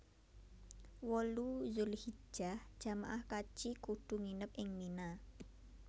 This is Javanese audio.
wolu Dzulhijjah jamaah kaji kudu nginep ing Mina